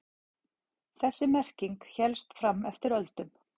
Þessi merking hélst fram eftir öldum.